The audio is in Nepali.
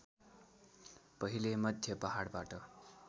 पहिले मध्य पहाडबाट